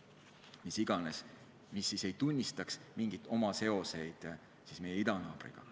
– mis iganes –, kes ei tunnistaks mingeid seoseid meie idanaabriga.